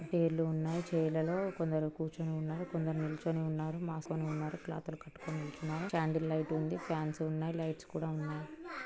Chair లు ఉన్నాయి. Chair లలో కొందరు కూర్చొని ఉన్నారు. కొందరు నిలుచొని ఉన్నారు మాస్క్ ని ఉన్నారు క్లాత్ లు కట్టుకొని నిల్చున్నారు. క్యాండిల్ లైట్ ఉంది. ఫాన్స్ ఉన్నాయి లైట్స్ కూడ ఉన్నాయి.